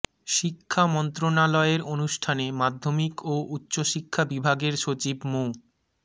শিক্ষা মন্ত্রণালয়ের অনুষ্ঠানে মাধ্যমিক ও উচ্চশিক্ষা বিভাগের সচিব মো